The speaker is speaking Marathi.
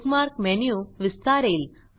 bookmark menu विस्तारेल